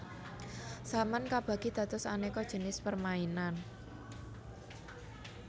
Saman kabagi dados aneka jinis permainan